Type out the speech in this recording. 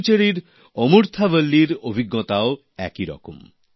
পুডুচেরির আমুরথা বল্লির অভিজ্ঞতাও একই রকম